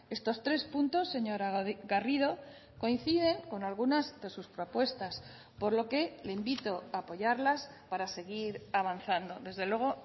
estos tres puntos señora garrido coinciden con algunas de sus propuestas por lo que le invito a apoyarlas para seguir avanzando desde luego